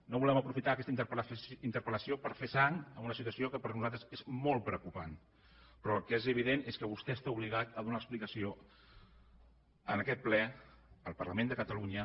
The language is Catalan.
no volem aprofitar aquesta interpellació per fer sang en una situació que per a nosaltres és molt preocupant però el que és evident és que vostè està obligat a donar explicació en aquest ple al parlament de catalunya